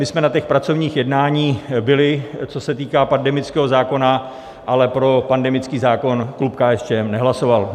My jsme na těch pracovních jednáních byli, co se týká pandemického zákona, ale pro pandemický zákon klub KSČM nehlasoval.